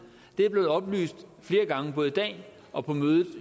er blevet oplyst flere gange både i dag og på mødet